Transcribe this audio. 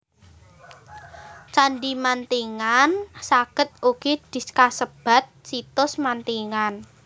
Candhi Mantingan saged ugi kasebat Situs Mantingan